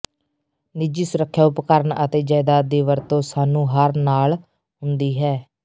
ਨਿੱਜੀ ਸੁਰੱਖਿਆ ਉਪਕਰਨ ਅਤੇ ਜਾਇਦਾਦ ਦੀ ਵਰਤੋ ਸਾਨੂੰ ਹਰ ਨਾਲ ਹੁੰਦੀ ਹੈ